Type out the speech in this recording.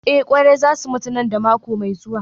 Eh kwari za su mutu nan da mako mai zuwa